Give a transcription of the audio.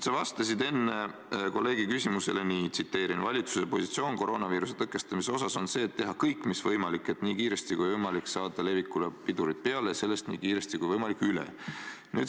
Sa vastasid enne kolleegi küsimusele nii, et valitsuse positsioon koroonaviiruse tõkestamisel on see, et teha kõik mis võimalik, et nii kiiresti kui võimalik saada levikule pidurid peale ja saada sellest nii kiiresti kui võimalik üle.